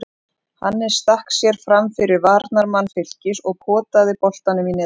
Hannes stakk sér framfyrir varnarmann Fylkis og potaði boltanum í netið.